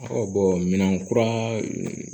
minɛn kura